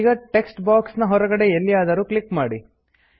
ಈಗ text box ನ ಹೊರಗಡೆ ಎಲ್ಲಿಯಾದರೂ ಕ್ಲಿಕ್ ಮಾಡಿ